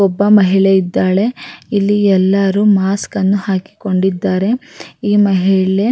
ಒಬ್ಬ ಮಹಿಳೆ ಇದ್ದಾಳೆ ಇಲ್ಲಿ ಎಲ್ಲರೂ ಮಾಸ್ಕನ್ನ ಹಾಕಿಕೊಂಡಿದ್ದಾರೆ ಈ ಮಹಿಳೆ--